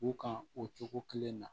U kan o cogo kelen na